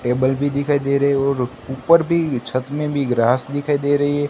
Table भी दिखाई दे रहे है और ऊपर भी छत में भी ग्रास दिखाई दे रही है।